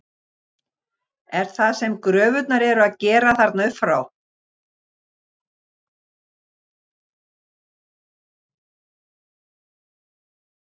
Er það sem gröfurnar eru að gera þarna upp frá?